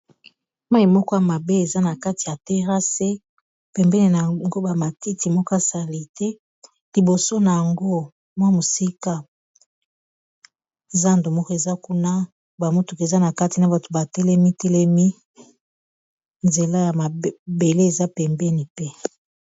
Mayi moko ya mabe eza na kati ya terrasse pembeni nango ba matiti moko ya asali te liboso nango mwa mosika zando moko eza kuna ba motuka eza na kati na bato ba telemi telemi nzela ya mabele eza pembeni pe.